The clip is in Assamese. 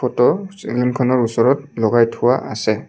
ফটো চিলিংখনৰ ওচৰত লগাই থোৱা আছে।